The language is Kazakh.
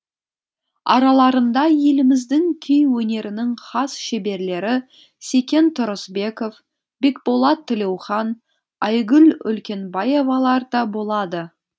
араларында еліміздің күй өнерінің хас шеберлері секен тұрысбеков бекболат тілеухан айгүл үлкенбаевалар да болады